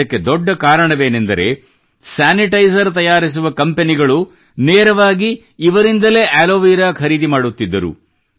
ಇದಕ್ಕೆ ದೊಡ್ಡ ಕಾರಣ ಏನೆಂದರೆ ಸ್ಯಾನಿಟೈಸರ್ ತಯಾರಿಸುವ ಕಂಪನಿಗಳು ನೇರವಾಗಿ ಇವರಿಂದಲೇ ಆಲೋವೆರಾ ಖರೀದಿ ಮಾಡುತ್ತಿದ್ದರು